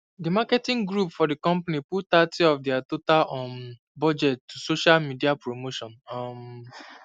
the marketing group for the company put thirty of their total um budget to social media promotion um